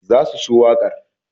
they will love the song